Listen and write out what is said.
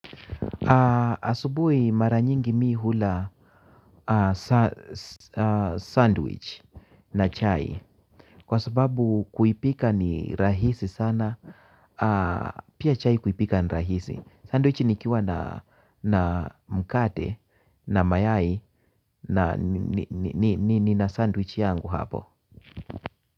Asubuhi mara nyingi mi hula sandwich na chai kwa sababu kuipika ni rahisi sana. Pia chai kuipika ni rahisi. Sandwich nikiwa na mkate na mayai nina sandwich yangu hapo.